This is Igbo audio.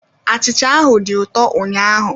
Achịcha ahụ dị ụtọ ụnyaahụ